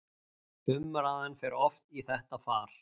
Umræðan fer oft í þetta far